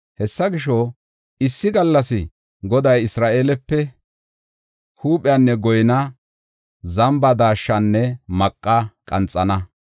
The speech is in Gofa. Hessa gisho, issi gallas Goday Isra7eelepe huuphenne goynaa, zamba daashshanne maqa qanxana.